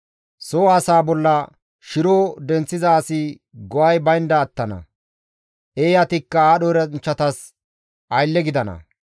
Soo asaa bolla shiro denththiza asi go7ay baynda attana; Eeyatikka aadho eranchchatas aylle gidana.